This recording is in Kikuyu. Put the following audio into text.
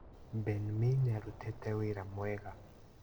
Ben mee nĩarutĩte wĩra mwega